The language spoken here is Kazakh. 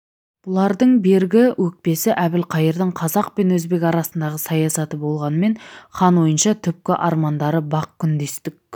бұлардың бергі өкпесі әбілқайырдың қазақ пен өзбек арасындағы саясаты болғанмен хан ойынша түпкі армандары бақ күндестік